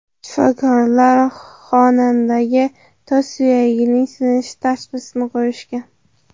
Shifokorlar xonandaga tos suyagining sinishi tashxisini qo‘yishgan.